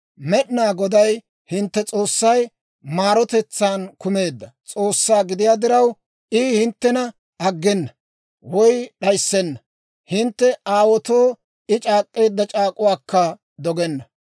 Med'inaa Goday hintte S'oossay maarotetsaan kumeedda S'oossaa gidiyaa diraw, I hinttena aggena; woy d'ayissenna; hintte aawaatoo I c'aak'k'eedda c'aak'uwaakka dogenna.